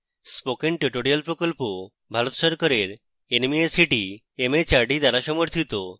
spoken tutorial প্রকল্প ভারত সরকারের nmeict mhrd দ্বারা পরিচালিত